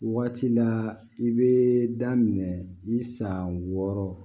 Waati la i bɛ daminɛ i san wɔɔrɔ